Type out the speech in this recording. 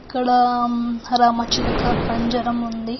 ఇక్కడ రామ చిలక పంజరం ఉంది.